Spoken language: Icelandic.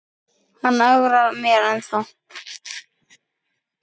En hann ögrar mér ennþá.